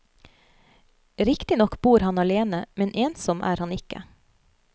Riktignok bor han alene, men ensom er han ikke.